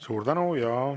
Suur tänu!